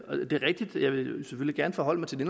selvfølgelig gerne forholde mig til det